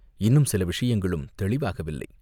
இன்னும் சில விஷயங்களும் தெளிவாகவில்லை